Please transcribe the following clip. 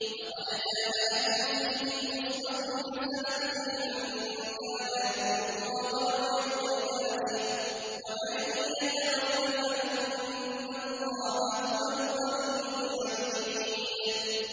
لَقَدْ كَانَ لَكُمْ فِيهِمْ أُسْوَةٌ حَسَنَةٌ لِّمَن كَانَ يَرْجُو اللَّهَ وَالْيَوْمَ الْآخِرَ ۚ وَمَن يَتَوَلَّ فَإِنَّ اللَّهَ هُوَ الْغَنِيُّ الْحَمِيدُ